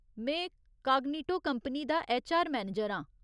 में Cognito company दा HR manager आं।